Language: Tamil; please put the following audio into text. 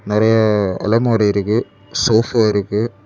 நெறைய அலமாரி இருக்கு சோபா இருக்கு.